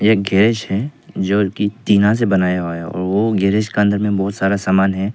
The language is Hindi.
एक गैरेज है जो की टीना से बनाया हुआ है वो गैरेज के अंदर बहोत सारा सामान है।